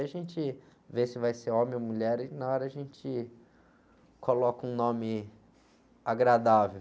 A gente vê se vai ser homem ou mulher e na hora a gente coloca um nome agradável.